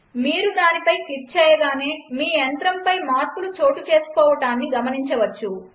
మీరు దానిపై క్లిక్ చేయగానే మీ యంత్రంపై మార్పులు చోటుచేసుకోవడాన్ని గమనించవచ్చు